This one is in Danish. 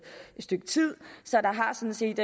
stykke tid så der har sådan set